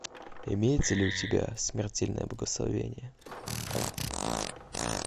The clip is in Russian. имеется ли у тебя смертельное благословение